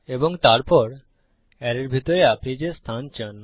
এবং তারপর অ্যারের ভিতরে আপনি যে অবস্থান চান